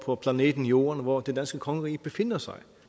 på planeten jorden hvor det danske kongerige befinder sig